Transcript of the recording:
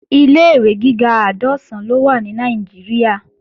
Ilé-ìwé gíga àádọ́sán ló wà ní Nàìjíríà